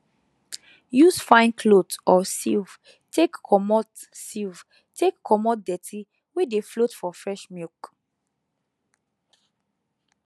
use fine cloth or sieve take comot sieve take comot dirty wey dey float for fresh milk